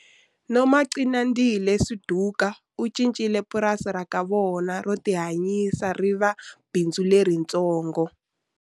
Nomagcinandile Suduka u cincile purasi ra ka vona ro tihanyisa ri va bindzu leritsongo.